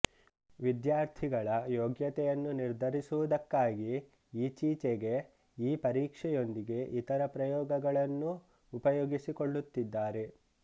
ವಿದ್ಯಾರ್ಥಿಗಳ ಯೋಗ್ಯತೆಯನ್ನು ನಿರ್ಧರಿಸುವುದಕ್ಕಾಗಿ ಈಚೀಚೆಗೆ ಈ ಪರೀಕ್ಷೆಯೊಂದಿಗೆ ಇತರ ಪ್ರಯೋಗಗಳನ್ನೂ ಉಪಯೋಗಿಸಿಕೊಳ್ಳುತ್ತಿದ್ದಾರೆ